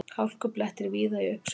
Hálkublettir víða í uppsveitum